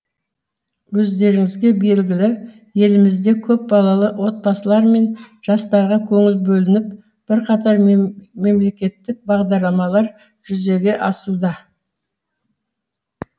өздеріңізге белгілі елімізде көпбалалы отбасылар мен жастарға көңіл бөлініп бірқатар мемлекеттік бағдарламалар жүзеге асуда